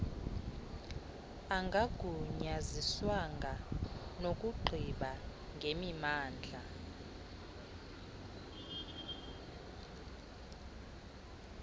angagunyaziswanga nokugqiba ngemimandla